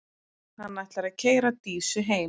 Hann ætlar að keyra Dísu heim.